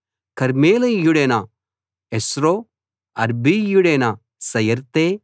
కర్మెలీయుడైన Hezro అర్బీయుడైన పయరై